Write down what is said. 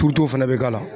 Turuto fɛnɛ bɛ k'a la